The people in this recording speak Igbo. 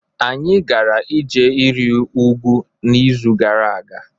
anyị gara ije iri ugwu n'izu gara aga